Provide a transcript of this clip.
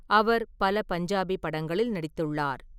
அவர் பல பஞ்சாபி படங்களில் நடித்துள்ளார்.